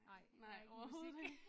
Nej nej overhoved ikke